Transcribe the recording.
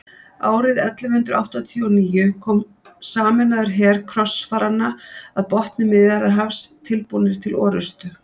árið ellefu hundrað áttatíu og níu kom sameinaður her krossfaranna að botni miðjarðarhafs tilbúnir til orrustu